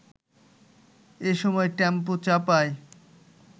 এসময় টেম্পো চাপায়